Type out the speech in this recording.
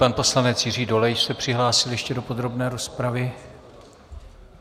Pan poslanec Jiří Dolejš se přihlásil ještě do podrobné rozpravy.